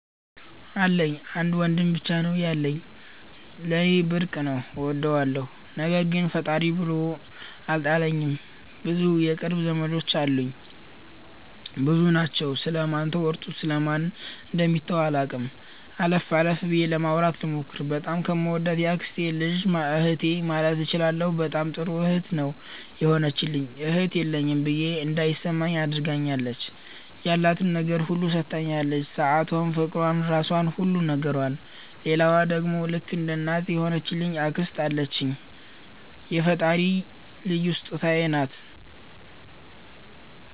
አሉኝ። አንድ ወንድም ብቻ ነው ያለኝ። ለኔ ብርቅ ነው እወደዋለሁ። ነገር ግን ፈጣሪ ጥሎ አልጣለኝም ብዙ የቅርብ ዘመዶች አሉኝ። ብዙ ናቸው ስለ ማን ተወርቶ ስለ ማን ደሚተው አላቅም። አለፍ አለፍ ብዬ ለማውራት ልሞክር። በጣም ከምወዳት የአክስቴ ልጅ እህቴ ማለት እችላለሁ በጣም ጥሩ እህት ነው የሆነችልኝ እህት የለኝም ብዬ እንዳይማኝ አድርጋኛለች። ያላትን ነገር ሁሉ ሠታኛለች ሠአቷን ፍቅሯን ራሧን ሁሉ ነገሯን። ሌላዋ ደሞ ልክ እንደ እናት የሆነች አክስት አለችኝ የፈጣሪ ልዩ ሥጦታዬ ናት።